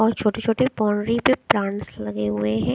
और छोटे-छोटे बाउंड्री पर प्लांट्स लगे हुए हैं।